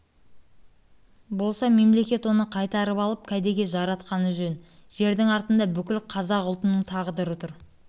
болса мемлекет оны қайтарып алып кәдеге жаратқаны жөн жердің артында бүкіл қазақ ұлтының тағдыры тұр